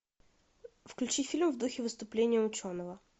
включи фильм в духе выступления ученого